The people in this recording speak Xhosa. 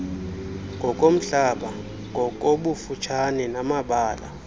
ngokomhlaba ngokobufutshane namabala